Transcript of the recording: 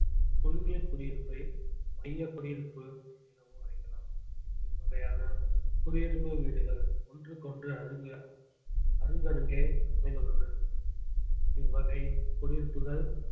குழுமிய குடியிருப்பை மைய குடியிருப்பு எனவும் அழைக்கலாம் இவ்வகையான குடியிருப்பு வீடுகள் ஒன்றுக்கொன்று அருக~ அருகருகே அமைந்துள்ளன இவ்வகை குடியிருப்புகள்